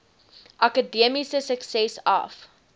akademiese sukses af